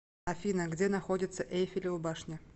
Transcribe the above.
афина где находится эйфелева башня